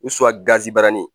U gabaranin